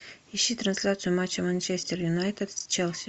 ищи трансляцию матча манчестер юнайтед с челси